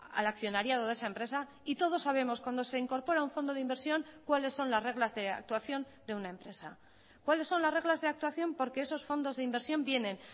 al accionariado de esa empresa y todos sabemos cuándo se incorpora un fondo de inversión cuáles son las reglas de actuación de una empresa cuáles son las reglas de actuación porque esos fondos de inversión vienen